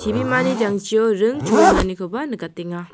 ibimani jangchio ring choenganikoba nikatenga.